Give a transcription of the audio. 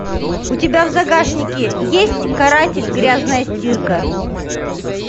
у тебя в загашнике есть каратель грязная стирка